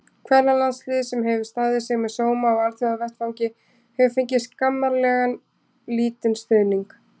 Kvennalandsliðið, sem hefur staðið sig með sóma á alþjóðavettvangi, hefur fengið skammarlega lítinn stuðning.